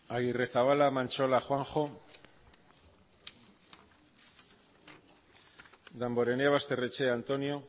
agirrezabala mantxola juanjo damborenea basterrechea antonio